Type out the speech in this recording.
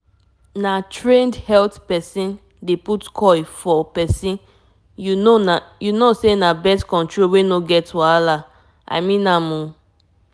dem dem fit comot coil anytime wey u want m na stress-free way b dat to avoid belle wahala like you know how e dey b